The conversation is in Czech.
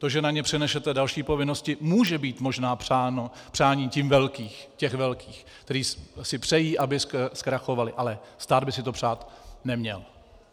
To, že na ně přenesete další povinnosti, může být možná přáním těch velkých, kteří si přejí, aby zkrachovali, ale stát by si to přát neměl.